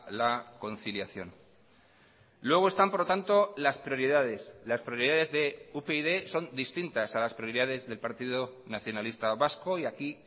la conciliación luego están por lo tanto las prioridades las prioridades de upyd son distintas a las prioridades del partido nacionalista vasco y aquí